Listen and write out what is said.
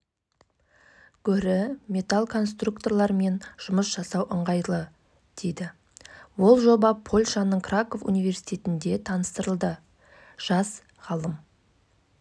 бұл қолшатыр секілді жедел жиналып қайта құрылатын қазақ үйдің баламасы апатты аймақтарда баспананы алмастыра алады дейді